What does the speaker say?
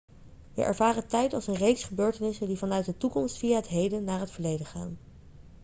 we ervaren tijd als een reeks gebeurtenissen die vanuit de toekomst via het heden naar het verleden gaan